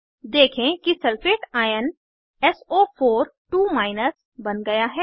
देखें कि sulphate ion सो42 बन गया है